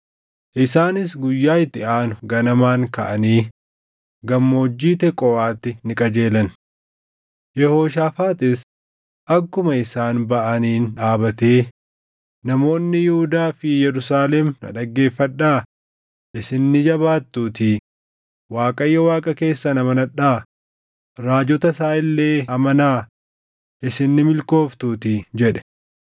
Isaanis guyyaa itti aanu ganamaan kaʼanii gammoojjii Teqooʼaatti ni qajeelan. Yehooshaafaaxis akkuma isaan baʼaniin dhaabatee, “Namoonni Yihuudaa fi Yerusaalem na dhaggeeffadhaa! Isin ni jabaattuutii Waaqayyo Waaqa keessan amanadhaa; raajota isaa illee amanaa isin ni milkooftuutii” jedhe.